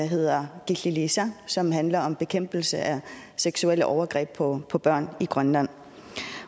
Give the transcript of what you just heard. hedder killiliisa og som handler om bekæmpelse af seksuelle overgreb på på børn i grønland